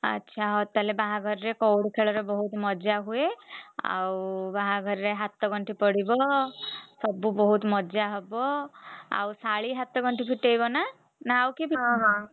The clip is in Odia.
ଆଚ୍ଛା ହଉ ତାହେଲେ ବାହାଘରରେ କଉଡି ଖେଳରେ ବହୁତ୍ ମଜା ହୁଏ। ଆଉ ବାହାଘରରେ ହାତଗଣ୍ଠି ପଡିବ ସବୁ ବହୁତ୍ ମଜା ହବ। ଆଉ ଶାଳୀ ହାତଗଣ୍ଠି ଫିଟେଇବ ନା ? ଆଉ କିଏ ଫିଟେଇବ?